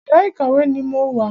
Yàrá ìkàwé ni mo wà.